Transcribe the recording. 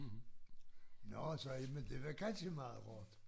Nårh sagde jeg men det var kjanske meget hårdt